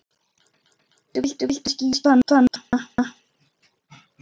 Viltu kannski játa núna?